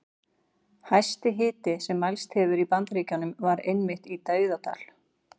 Hæsti hiti sem mælst hefur í Bandaríkjunum var einmitt í Dauðadal.